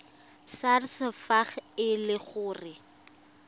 sars fa e le gore